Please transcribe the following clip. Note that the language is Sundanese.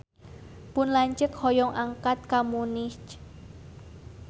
Pun lanceuk hoyong angkat ka Munich